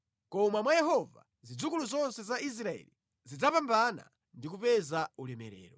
Koma mwa Yehova zidzukulu zonse za Israeli zidzapambana ndi kupeza ulemerero.